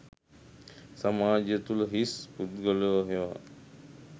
සමාජය තුළම හිස් පුද්ගලයෝ හෙවත්